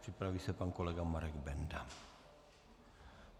připraví se pan kolega Marek Benda.